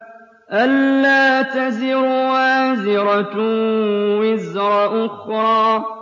أَلَّا تَزِرُ وَازِرَةٌ وِزْرَ أُخْرَىٰ